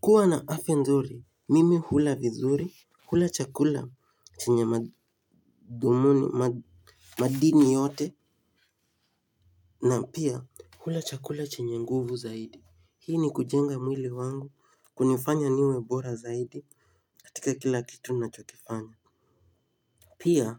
Kuwa na afya nzuri, mimi hula vizuri, hula chakula chenye madhumuni madini yote na pia hula chakula chenye nguvu zaidi. Hii ni kujenga mwili wangu kunifanya niwe bora zaidi katika kila kitu nachokifanya. Pia